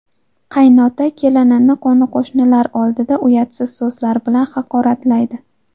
Qaynota kelinini qo‘ni-qo‘shnilar oldida uyatsiz so‘zlar bilan haqoratlaydi.